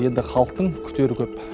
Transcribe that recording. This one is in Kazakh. енді халықтың күтері көп